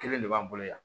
Kelen de b'an bolo yan